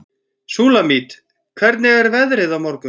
Súlamít, hvernig er veðrið á morgun?